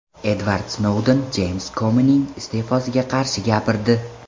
Edvard Snouden Jeyms Komining iste’fosiga qarshi gapirdi.